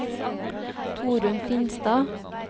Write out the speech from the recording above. Torunn Finstad